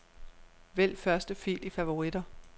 Vælg første fil i favoritter.